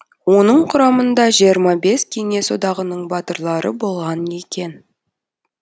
оның құрамында жиырма бес кеңес одағының батырлары болған екен